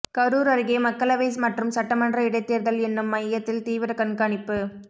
கரூர் அருகே மக்களவை மற்றும் சட்டமன்ற இடைத்தேர்தல் எண்ணும் மையத்தில் தீவிர கண்காணிப்பு